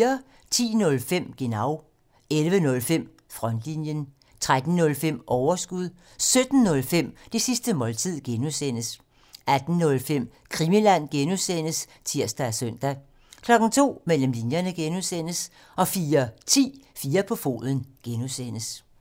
10:05: Genau 11:05: Frontlinjen 13:05: Overskud 17:05: Det sidste måltid (G) 18:05: Krimiland (G) (tir og søn) 02:00: Mellem linjerne (G) 04:10: 4 på foden (G)